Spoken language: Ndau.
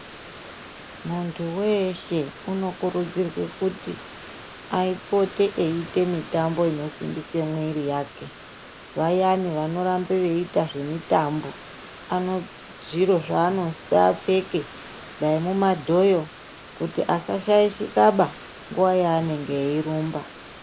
muntu veshe unokurudzirwe kuti apote aite mitambo inosimbise mwiri yake. Vayani vanorambe veiita zvemitambo ano zviro zvanozi apfeke dai mumadhoyo kuti asa shaishika ba nguva yaanenge eirumba.